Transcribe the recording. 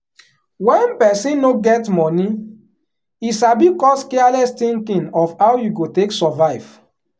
wen person no get money e sabi cause careless thinking of how you go take survive.